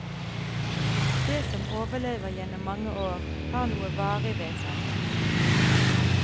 Det som overlever gjennom mange år har noe varig ved seg.